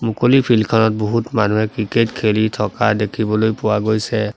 মুকলি ফিল্ড খনত বহুত মানুহে ক্ৰিকেট খেলি থকা দেখিবলৈ পোৱা গৈছে।